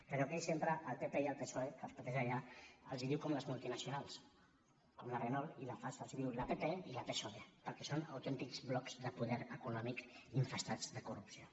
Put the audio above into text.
però que ell sempre al pp i al psoe que els pateix allà els diu com a les multinacionals com la renault i la fasa els diu la pp i la psoe perquè són autèntics blocs de poder econòmic infestats de corrupció